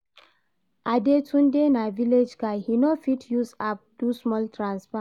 Adetunde na village guy, he no fit use app do small transfer